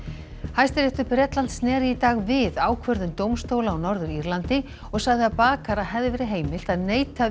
Hæstiréttur Bretlands sneri í dag við ákvörðun dómstóla á Norður Írlandi og sagði að bakara hefði verið heimilt að neita